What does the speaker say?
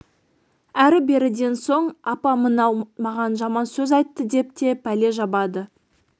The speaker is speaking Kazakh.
әрі беріден соң апа мынау маған жаман сөз айтты деп те пәле жабады